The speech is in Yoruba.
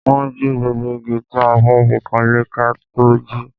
Wọ́n jí gbogbo igi tí a fẹ́ fi kanlé ká tó jí